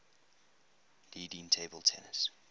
leading table tennis